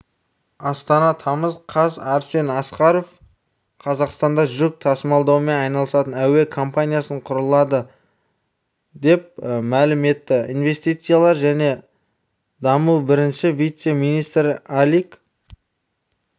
астана тамыз қаз арсен асқаров қазақстанда жүк тасымалдаумен айналысатын әуе компаниясы құрылады деп мәлім етті инвестициялар және даму бірінші вице-министрі алик